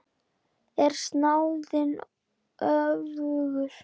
Er snáðinn öfugur?